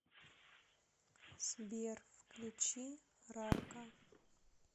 сбер включи рарка